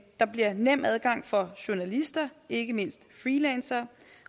der bliver nem adgang for journalister ikke mindst freelancere